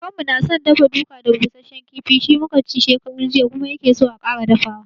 Kakanmu na san dafa-duka da busashen kifi, shi mu ka ci shekaran jiya kuma ya ke so a sake dafawa.